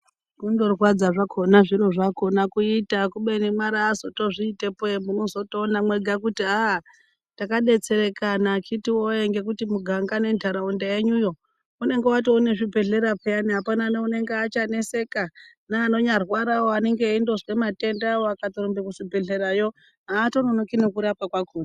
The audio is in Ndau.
Kundorwadza zvakona zviro zvakona kuita kubeni mwari azotozvitepo ee munotozoona mwega kuti aaa takabetserekana akhiti voye. Ngekuti muganga nentaraunda yenyuyo inonga yatone nezvibhedhlera peya hapana neunenge achaneseka. Neanonyarwaravo anonge eindozwe matendavo akatorumbe kuchibhedhleravo hatononoki nekurapwa kwakona.